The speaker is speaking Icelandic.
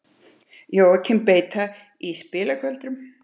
Jóakim beita í spilagöldrum.